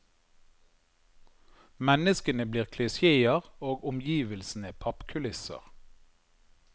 Menneskene blir klisjeer og omgivelsene pappkulisser.